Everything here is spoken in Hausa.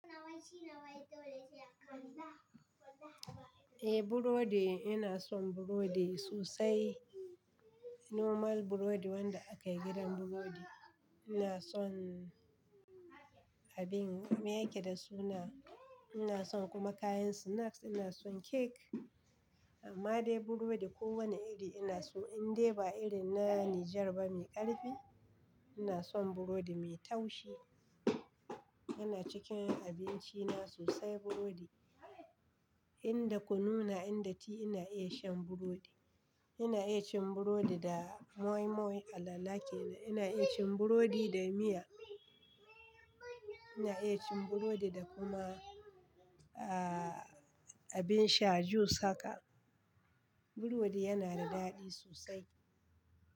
Eh Burodi, ina son Burodi sosai. Normal Burodi wanda aka yi gidan Burodi. Ina son abin, me yake da suna? Ina son kuma kayan snacks, ina son Cake. Amma dai Burodi kowane iri ina so. Indai ba irin na Niger ba mai ƙarfi, ina son Burodi mai taushi. Yana cikin abinci na sosai Burodi. E. Inda kun nuna inda ti ina iya shan burodi. Ina iya cin Burodi da Moi-Moi, Alala kenan, ina iya cin Burodi da miya. Ina iya cin Burodi da kuma, ah, abin sha juice haka. Burodi yana da daɗi sosai.